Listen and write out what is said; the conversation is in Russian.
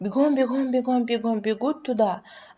бегом бегом бегом бегом бегут туда